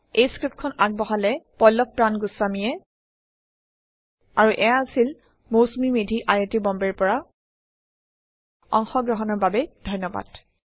এই পাঠটি আগবঢ়ালে পল্লভ প্ৰান গুস্ৱামীয়ে আৰু এইয়া আছিল Mousumi Medhi I I T বম্বেৰ পৰা অংশগ্ৰহণৰ বাবে ধন্যবাদ